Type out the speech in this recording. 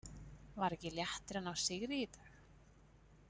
Var ekki léttir að ná sigri í dag?